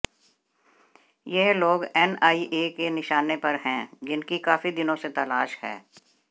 यह लोग एनआईए के निशाने पर हैं जिनकी काफी दिनों से तलाश है